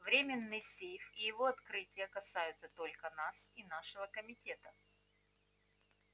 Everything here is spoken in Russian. временной сейф и его открытие касаются только нас и нашего комитета